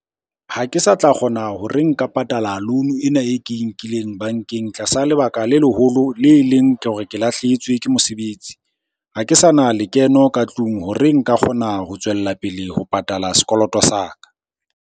Ha ke sa tla kgona hore nka patala loan ena e ke e nkileng bankeng tlasa lebaka le leholo, le leng ke hore ke lahlehetswe ke mosebetsi. Ha ke sa na lekeno ka tlung hore nka kgona ho tswella pele ho patala sekoloto sa ka.